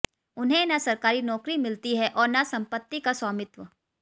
उन्हें न सरकारी नौकरी मिलती है और न संपत्ति का स्वामित्व